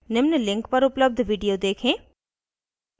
निम्न link पर उपलब्ध video देखें